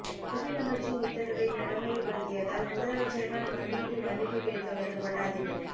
கல்வி அமைச்சின் உத்தரவை நடைமுறைபடுத்தியதால் முதலமைச்சரினால் மண்டியிட்டு மன்னிப்பு கேட்கவைக்கப்பட்ட அதிபர்